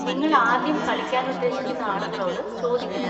നിങ്ങൾ ആദ്യം കളിക്കാൻ ഉദ്ദേശിക്കുന്ന ആളുകളോട് ചോദിക്കണം.